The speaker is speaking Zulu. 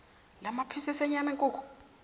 lamaphisisi enyama yenkukhu